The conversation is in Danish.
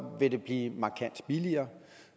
vil det blive markant billigere